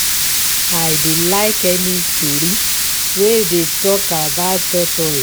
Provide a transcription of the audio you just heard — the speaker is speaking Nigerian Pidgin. I dey like any story wey dey talk about tortoise